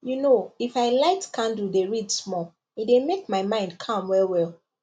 you know if i light candle dey read small e dey make my mind calm well well